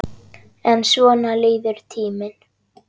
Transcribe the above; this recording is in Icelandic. En svona líður tíminn.